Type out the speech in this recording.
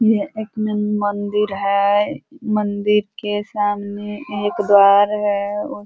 यह एक नन मंदिर है। मंदिर के सामने एक घर है। उ --